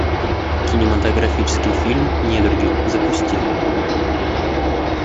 кинематографический фильм недруги запусти